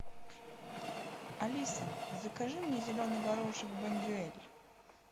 алиса закажи мне зеленый горошек бондюэль